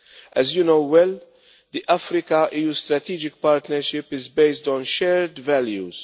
As you know well, the Africa EU strategic partnership is based on shared values.